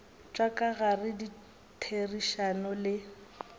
tša ka gare ditherišano le